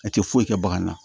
A tɛ foyi kɛ bagan na